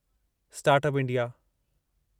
start up India